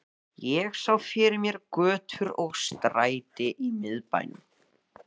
Ég sá fyrir mér götur og stræti í miðbænum